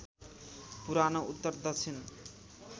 पुरानो उत्तर दक्षिण